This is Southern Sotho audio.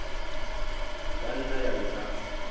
e ka nna ya nka